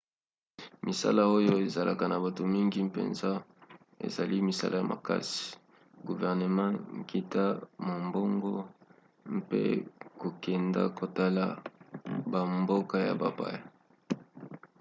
misala oyo ezalaka na bato mingi mpenza ezali misala ya makasi guvernema nkita mombongo mpe kokenda kotala bamboka ya bapaya